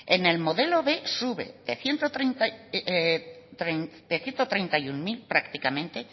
en el modelo b sube de ciento treinta y uno mil prácticamente